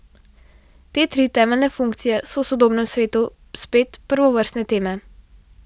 Te tri temeljne funkcije so v sodobnem svetu spet prvovrstne teme.